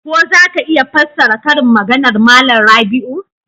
Ko za ka iya fassara karin maganar Malam Rabiu?